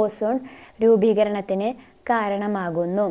ozone രൂപീകരണത്തിന് കാരണമാകുന്നു